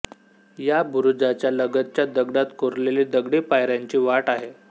या बुरुजाच्या लगतच दगडात कोरलेली दगडी पायऱ्यांची वाट आहे